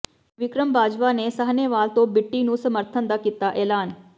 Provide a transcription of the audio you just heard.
ਵਿਕਰਮ ਬਾਜਵਾ ਨੇ ਸਾਹਨੇਵਾਲ ਤੋਂ ਬਿੱਟੀ ਨੂੰ ਸਮਰਥਨ ਦਾ ਕੀਤਾ ਐਲਾਨ